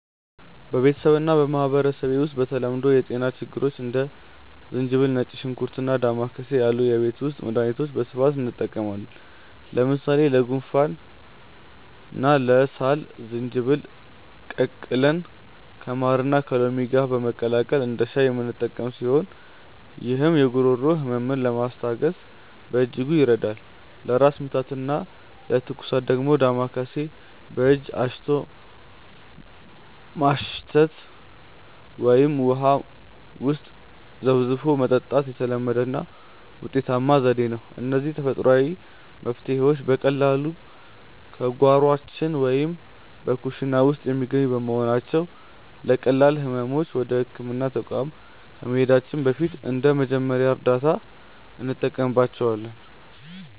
በቤተሰቤና በማኅበረሰቤ ውስጥ ለተለመዱ የጤና ችግሮች እንደ ዝንጅብል፣ ነጭ ሽንኩርትና ዳማከሴ ያሉ የቤት ውስጥ መድኃኒቶችን በስፋት እንጠቀማለን። ለምሳሌ ለጉንፋንና ለሳል ዝንጅብልን ቀቅለን ከማርና ከሎሚ ጋር በማቀላቀል እንደ ሻይ የምንጠጣው ሲሆን፣ ይህም የጉሮሮ ሕመምን ለማስታገስ በእጅጉ ይረዳል። ለራስ ምታትና ለትኩሳት ደግሞ ዳማከሴን በእጅ አሽቶ ማሽተት ወይም ውሃ ውስጥ ዘፍዝፎ መጠጣት የተለመደና ውጤታማ ዘዴ ነው። እነዚህ ተፈጥሯዊ መፍትሔዎች በቀላሉ በጓሯችን ወይም በኩሽና ውስጥ የሚገኙ በመሆናቸው፣ ለቀላል ሕመሞች ወደ ሕክምና ተቋም ከመሄዳችን በፊት እንደ መጀመሪያ እርዳታ እንጠቀምባቸዋለን።